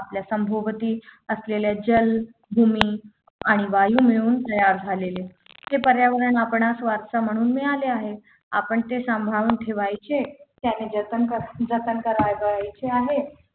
आपल्या सभोवती असलेले जल भूमी आणि वायू मिळून तयार झालेले ते पर्यावरण आपणास वारसा म्हणून मिळाले आहे आपण ते सांभाळून ठेवायचे आणि जतन जतन करावयाचे आहे